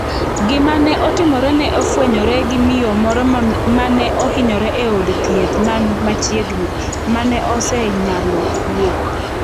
Gima ne otimore ne ofwenyore gi miyo moro mane ohinyre e od thieth man machiegni, mane osenyalo wuok.